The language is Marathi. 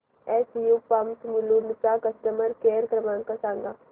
एसयू पंप्स मुलुंड चा कस्टमर केअर क्रमांक सांगा